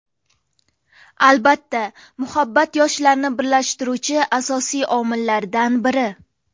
Albatta, muhabbat yoshlarni birlashtiruvchi asosiy omillardan biri.